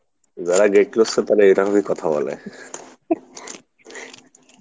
যারাই great লুচ্ছা তারাই এরকমই কথা বলে